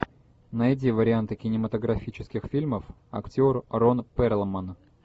найди варианты кинематографических фильмов актер рон перлман